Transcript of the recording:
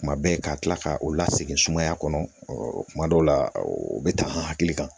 Kuma bɛɛ ka kila ka u la segin sumaya kɔnɔ kuma dɔw la o bɛ ta an hakili kan